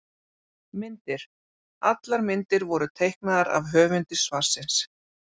Myndir: Allar myndir voru teiknaðar af höfundi svarsins.